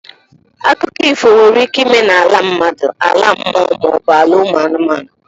Akụkọ ifo nwere ike ịme n'ala mmadụ, ala mmụọ maọbụ ala ụmụ anụmanụ.